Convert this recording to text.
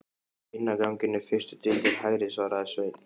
Inn af ganginum, fyrstu dyr til hægri, svaraði Sveinn.